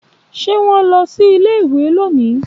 Ṣé wón lọ sí ilé-ìwé lónìí?